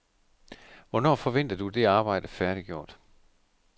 Hvornår forventer du det arbejde færdiggjort?